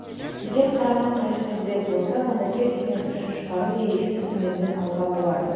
егер қарама-қайшы тізбек болса онда кез-келген үшін шығару ережесі көмегімен алуға болады